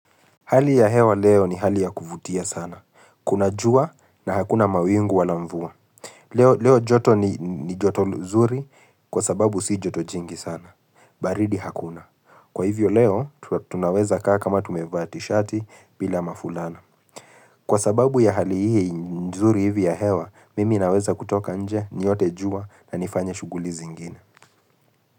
Hali ya hewa leo ni hali ya kuvutia sana. Kuna jua na hakuna mawingu wala mvua. Leo joto ni joto nzuri kwa sababu si joto jingi sana. Baridi hakuna. Kwa hivyo leo, tunaweza kaa kama tumevaa tishati bila mafulana. Kwa sababu ya hali hii nzuri hivi ya hewa, mimi naweza kutoka nje, niote jua na nifanye shuguli zingine.